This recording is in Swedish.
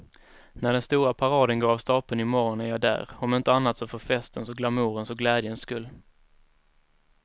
När den stora paraden går av stapeln i morgon är jag där, om inte annat så för festens och glamourens och glädjens skull.